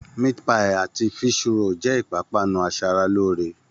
Meat-pie àti fish-roll jẹ́ ìpápánu aṣaralóore